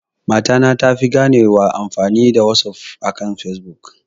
Mata ta tafi ganewa amfani da wasaf akan fesbuk